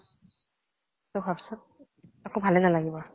ঊ ভাব চোন, একো ভালে নালাগিব